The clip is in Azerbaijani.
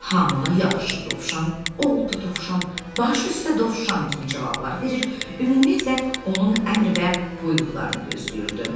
Hamı ona yaxşı Dovşan, oldu Dovşan, baş üstə Dovşan kimi cavablar verir, ümumiyyətlə onun əmr və buyruqlarını gözləyirdi.